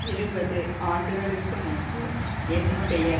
இருபது ஆண்டுகளுக்கு முன்பு என்னுடைய